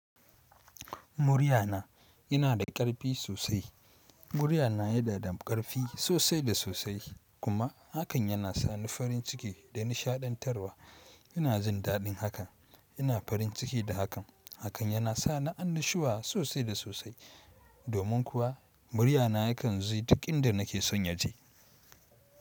Muryana yana da ƙarfi sosai. Muryana ya nada ƙarfi sosai da sosai kuma hakan yana sa ni farin ciki da nishaɗantarwa. Ina jin daɗin hakan, ina farin ciki da hakan. Hakan yana sa ni annashuwa sosai da sosai domin kuwa muryana yakan ze duk inda nake son je.